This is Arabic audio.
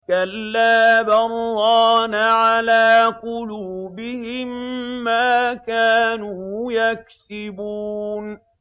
كَلَّا ۖ بَلْ ۜ رَانَ عَلَىٰ قُلُوبِهِم مَّا كَانُوا يَكْسِبُونَ